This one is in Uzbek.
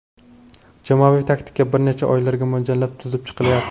Jamoaviy taktika bir necha oylarga mo‘ljallab tuzib chiqilyapti.